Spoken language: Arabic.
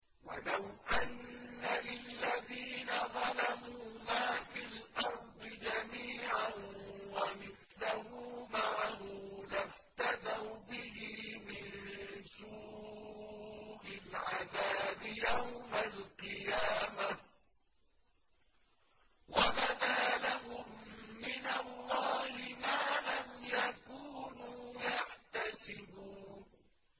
وَلَوْ أَنَّ لِلَّذِينَ ظَلَمُوا مَا فِي الْأَرْضِ جَمِيعًا وَمِثْلَهُ مَعَهُ لَافْتَدَوْا بِهِ مِن سُوءِ الْعَذَابِ يَوْمَ الْقِيَامَةِ ۚ وَبَدَا لَهُم مِّنَ اللَّهِ مَا لَمْ يَكُونُوا يَحْتَسِبُونَ